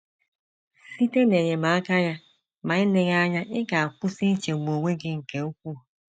Site n’enyemaka ya, ma eleghị anya ị ga - akwụsị ichegbu onwe gị nke ukwuu.